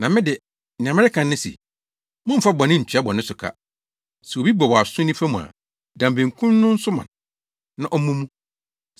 Na me de, nea mereka ne se: Mommfa bɔne ntua bɔne so ka! Sɛ obi bɔ wʼaso nifa mu a, dan benkum no nso ma no na ɔmmɔ mu.